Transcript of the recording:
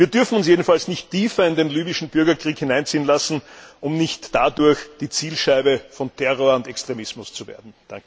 Wir dürfen uns jedenfalls nicht tiefer in den libyschen Bürgerkrieg hineinziehen lassen, um nicht dadurch die Zielscheibe von Terror und Extremismus zu werden.